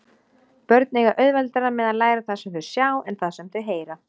Börn eiga auðveldara með að læra það sem þau sjá en það sem þau heyra.